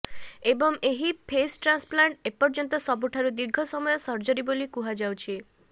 ଏବଂ ଏହି face transplant ଏପର୍ଯ୍ୟନ୍ତ ସବୁଠାରୁ ଦୀର୍ଘ ସମୟ ସର୍ଜରି ବୋଲି କୁହାଯାଉଛି